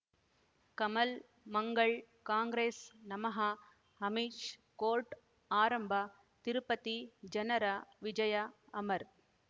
Kamal Mangal Congress ನಮಃ Amish court ಆರಂಭ ತಿರುಪತಿ ಜನರ ವಿಜಯ ಅಮರ್